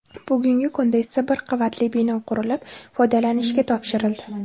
Bugungi kunda esa bir qavatli bino qurilib, foydalanishga topshirildi.